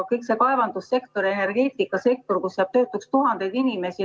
Kogu kaevandussektoris ja energeetikasektoris jääb töötuks tuhandeid inimesi.